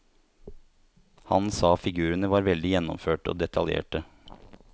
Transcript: Han sa figurene var veldig gjennomførte og detaljerte.